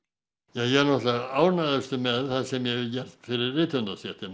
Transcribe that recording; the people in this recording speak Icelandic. ég er náttúrulega ánægðastur með það sem ég hef gert fyrir